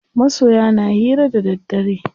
Masoya na hira da daddare.